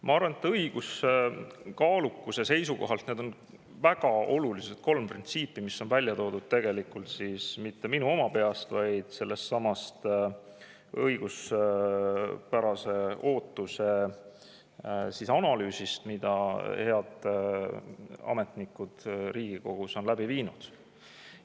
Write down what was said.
Ma arvan, et õiguskaalukuse seisukohalt on väga olulised need kolm printsiipi, mida ma ei ole mitte oma peas välja mõelnud, vaid mis on pärit sellestsamast õiguspärase ootuse analüüsist, mille head ametnikud Riigikogu tegid.